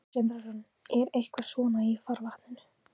Sindri Sindrason: Er eitthvað svona í farvatninu?